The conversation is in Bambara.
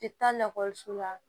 la